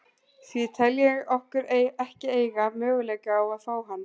Því tel ég okkur ekki eiga möguleika á að fá hann.